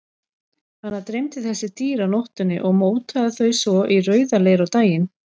Hana dreymdi þessi dýr á nóttunni og mótaði þau svo í rauðaleir á daginn.